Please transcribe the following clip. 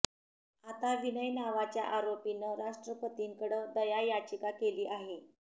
आता विनय नावाच्या आरोपीनं राष्ट्रपतींकडं दया याचिका केली आहे